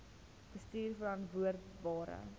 bestuurverantwoordbare